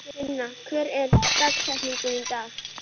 Ninna, hver er dagsetningin í dag?